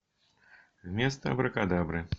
вместо абракадабры